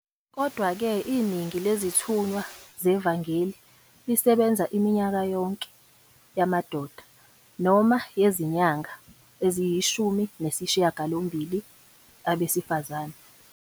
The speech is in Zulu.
Kodwa-ke, iningi lezithunywa zevangeli lisebenza iminyaka yonke, yamadoda, noma yezinyanga eziyishumi nesishiyagalombili, abesifazane.